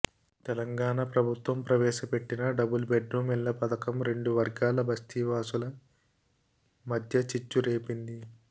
తెలంగాణ ప్రభత్వం ప్రవేశ పెట్టిన డబుల్ బెడ్ రూమ్ ఇళ్ల పథకం రెండువర్గాల బస్తీవాసుల మధ్య చిచ్చు రేపింది